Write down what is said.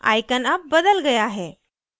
icon अब बदल गया है